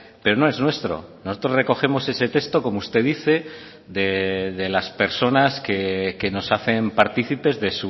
pero no es nuestro nosotros recogemos ese texto como usted dice de las personas que nos hacen partícipes de